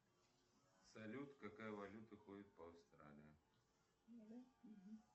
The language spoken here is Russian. салют какая валюта ходит по австралии